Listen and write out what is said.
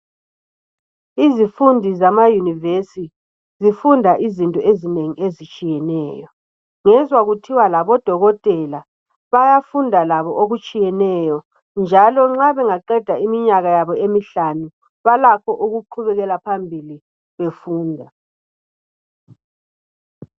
Izifundi zama yunivesi zifunda izinto ezinengi ezitshiyeneyo. Ngezwa kuthiwa labo dokotela bayafunda labo okutshiyeneyo, njalo uma bangaqeda iminyaka yabo emihlanu balakho ukuqhubekela phambili befunda.